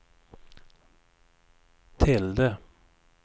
tilde